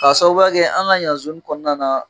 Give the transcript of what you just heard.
Ka sababuya kɛ an ka yan kɔnɔna na.